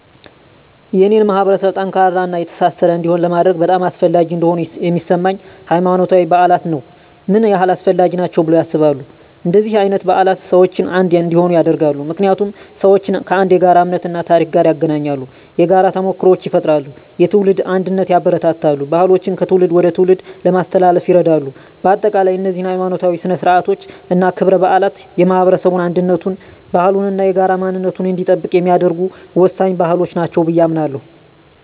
የኔን ማህበረሰብ ጠንካራና የተሳሰረ እንዲሆን ለማድረግ በጣም አስፈላጊ እንደሆኑ የሚሰማኝ፦ ** ሃይማኖታዊ በዓላት ነው **ምን ያህል አስፈላጊ ናቸው ብለው ያስባሉ? እንደነዚህ አይነት በዓላት ሰዎችን አንድ እንዲሆኑ ያደርጋሉ። ምክንያቱም ሰዎችን ከአንድ የጋራ እምነት እና ታሪክ ጋር ያገናኛሉ። የጋራ ተሞክሮዎችን ይፈጥራሉ፣ የትውልድ አንድነትን ያበረታታሉ፣ ባህሎችን ከትውልድ ወደ ትውልድ ለማስተላለፍ ይረዳሉ። በአጠቃላይ፣ እነዚህ ሀይማኖታዊ ሥነ ሥርዓቶች እና ክብረ በዓላት የማህበረሰቡን አንድነቱን፣ ባህሉን እና የጋራ ማንነቱን እንዲጠብቅ የሚያደርጉ ወሳኝ ባህሎች ናቸው ብየ አምናለሁ።